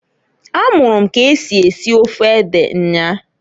A mụrụ m k'esi esi ofe ede nnyaa.